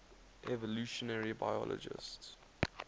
evolutionary biologists